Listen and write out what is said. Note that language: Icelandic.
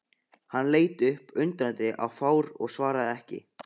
Hann leit upp undrandi og fár og svaraði ekki.